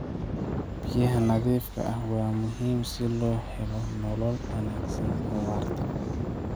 Biyaha nadiifka ah waa muhiim si loo helo nolol wanaagsan oo waarta.